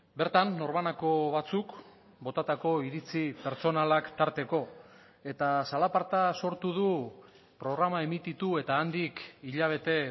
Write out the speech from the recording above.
bertan norbanako batzuk botatako iritzi pertsonalak tarteko eta zalaparta sortu du programa emititu eta handik hilabete